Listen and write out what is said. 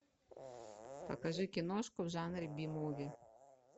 покажи киношку в жанре би муви